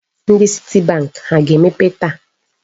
Ndị citibank ha ga-emepe taa?